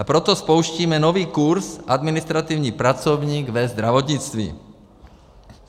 A proto spouštíme nový kurz administrativní pracovník ve zdravotnictví.